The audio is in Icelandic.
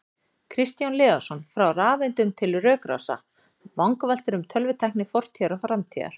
Kristján Leósson, Frá rafeindum til rökrása: Vangaveltur um tölvutækni fortíðar og framtíðar